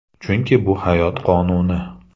Chunki bu hayot qonuni.